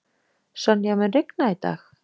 Sonja, mun rigna í dag?